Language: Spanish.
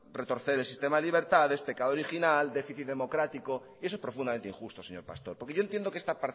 retorcer el sistema de libertades pecado original déficit democrático eso es profundamente injusto señor pastor porque yo entiendo que esta